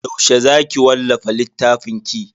Yaushe za ki wallafa littafinki?